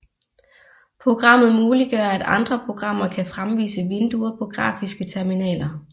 Programmet muliggør at andre programmer kan fremvise vinduer på grafiske terminaler